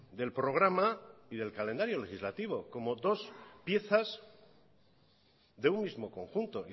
del programa y del calendario legislativo como dos piezas de un mismo conjunto